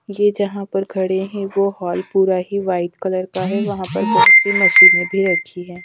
ये जहाँ पर खड़े हैं वो हाल पूरा ही व्हाइट कलर का है वहाँ पर बहोत सी मशीनें भी रखी हैं।